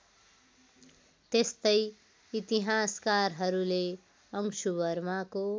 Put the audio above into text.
त्यस्तै इतिहासकारहरूले अंशुवर्माको